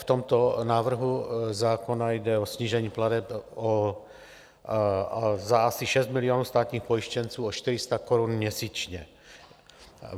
V tomto návrhu zákona jde o snížení plateb za asi 6 milionů státních pojištěnců o 400 korun měsíčně.